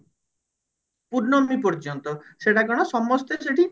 ପୂର୍ଣ୍ଣମୀ ପର୍ଯ୍ୟନ୍ତ ସେଟା କଣ ସମସ୍ତେ ସେଠି